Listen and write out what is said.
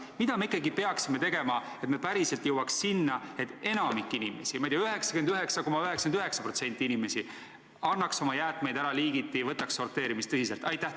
Mida me ikkagi peaksime tegema, et me päriselt jõuaks sinna, et enamik inimesi – ma ei tea, 99,99% inimesi – annaks oma jäätmeid ära liigiti ja võtaks sorteerimist tõsiselt?